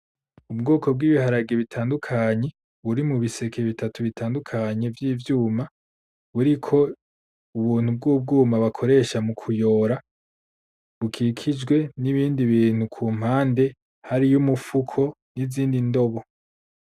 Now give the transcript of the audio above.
Ubwoko bw’ibiharage bitandukanye, buri mu biseke bitatu bitandukanye vy’ivyuma, buriko ubuntu bw’ubwuma bakoresha mukuyora, bukikijwe n’ibindi bintu ku mpande hariyo umufuko n’izindi ndobo.